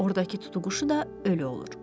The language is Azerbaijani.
Ordakı tutuquşu da ölü olur.